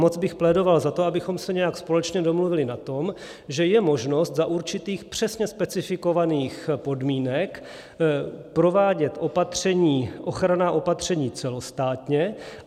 Moc bych plédoval za to, abychom se nějak společně domluvili na tom, že je možnost za určitých přesně specifikovaných podmínek provádět ochranná opatření celostátně.